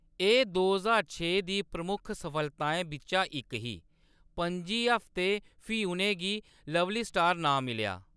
एह्‌‌ दो ज्हार छे दी प्रमुख सफलताएं बिच्चा इक ही; पंजी हफ्ते, फ्ही उʼनें गी "लवली स्टार" नांऽ मिलेआ।